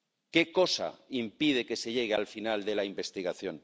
¿Qué cosa impide que se llegue al final de la investigación?